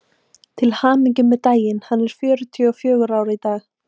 Til hamingju með daginn: hann er fjörutíu og fjögra í dag.